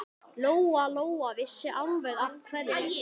Lóa-Lóa vissi alveg af hverju.